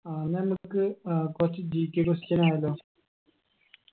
ആ ഇന്നമ്മക്ക് ഏർ കൊർച്ച് GKquestion ആയാലോ